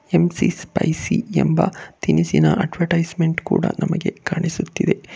ಎಂ_ಸಿ spicy ಎಂಬ ತಿನಿಸಿನ advertisement ಕೂಡ ನಮಗೆ ಕಾಣಿಸುತ್ತಿದೆ.